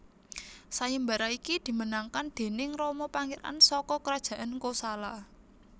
Sayembara iki dimenangkan déning Rama pangeran saka Kerajaan Kosala